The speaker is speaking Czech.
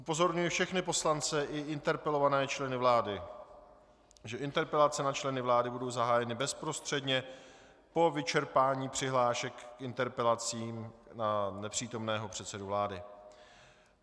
Upozorňuji všechny poslance i interpelované členy vlády, že interpelace na členy vlády budou zahájeny bezprostředně po vyčerpání přihlášek k interpelacím na nepřítomného předsedu vlády.